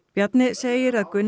Bjarni segir að Gunnar